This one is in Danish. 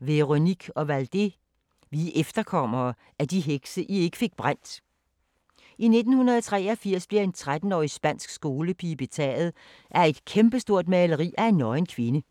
Ovaldé, Véronique: Vi er efterkommerne af de hekse, I ikke fik brændt I 1983 bliver en 13-årig spansk skolepige betaget af et kæmpestort maleri af en nøgen kvinde.